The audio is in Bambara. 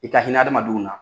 I ka hinɛ hadamadenw na.